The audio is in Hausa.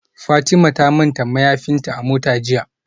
Fatima ta manta mayafinta a mota jiya